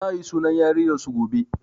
Za a yi sunan yarinyar su gobe